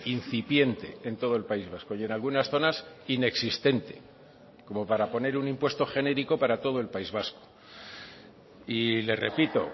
incipiente en todo el país vasco y en algunas zonas inexistente como para poner un impuesto genérico para todo el país vasco y le repito